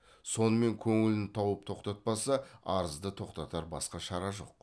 сонымен көңілін тауып тоқтатпаса арызды тоқтатар басқа шара жоқ